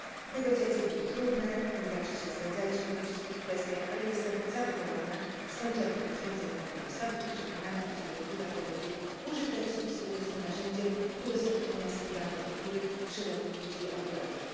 Negocjacje były trudne, nie zawsze się zgadzaliśmy we wszystkich kwestiach, ale jestem zadowolona z końcowych rozwiązań kompromisowych i przekonana, iż dyrektywa ta będzie użytecznym i skutecznym narzędziem udostępniania skrywanej kultury szerokiej liczbie odbiorców.